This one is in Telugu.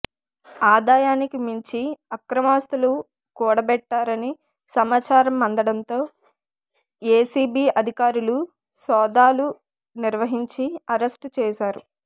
ఆదాయానికి మించి అక్రమాస్తులు కూడబెట్టారని సమాచారం అందడంతో ఎసిబి అధికారులు సోదాలు నిర్వహించి అరెస్టు చేశారు